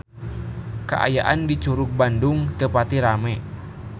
Kaayaan di Curug Bandung teu pati rame